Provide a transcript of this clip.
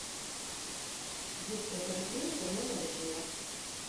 детская поликлиника номер восемнадцать